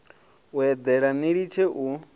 u eḓela ni litshe u